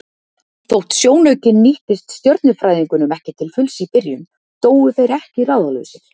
Þótt sjónaukinn nýttist stjörnufræðingnum ekki til fulls í byrjun dóu þeir ekki ráðalausir.